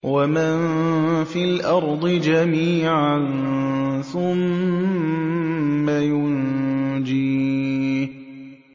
وَمَن فِي الْأَرْضِ جَمِيعًا ثُمَّ يُنجِيهِ